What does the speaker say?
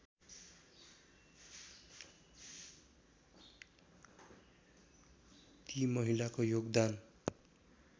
ती महिलाको योगदान